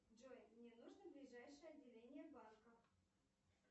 джой мне нужно ближайшее отделение банка